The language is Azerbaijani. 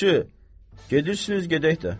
Yaxşı, gedirsiniz gedək də.